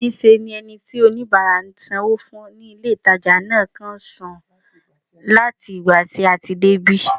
Níṣe ni ẹni tí oníbàárà ń sanwó fún ní ilé-ìtàjà náà kàn ń sùn láti ìgbà tí a ti débí